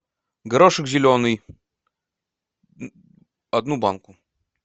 горошек зеленый одну банку